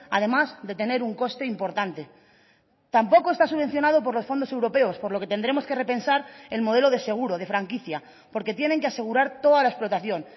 además de tener un coste importante tampoco está subvencionado por los fondos europeos por lo que tendremos que repensar el modelo de seguro de franquicia porque tienen que asegurar toda la explotación